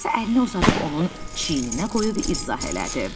Atası əlini uzadıb onun çiyninə qoyub izah elədi.